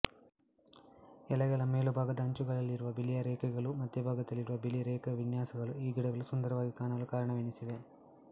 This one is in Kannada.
ಎಲೆಗಳ ಮೇಲುಭಾಗದ ಅಂಚುಗಳಲ್ಲಿರುವ ಬಿಳಿಯ ಗೆರೆಗಳೂ ಮಧ್ಯಭಾಗದಲ್ಲಿರುವ ಬಿಳಿ ರೇಖಾವಿನ್ಯಾಸಗಳೂ ಈ ಗಿಡಗಳು ಸುಂದರವಾಗಿ ಕಾಣಲು ಕಾರಣವೆನಿಸಿವೆ